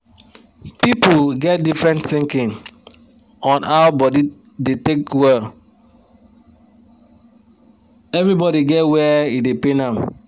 pipu get difrent thinkin on how body da take well everi body get wer e da pain am!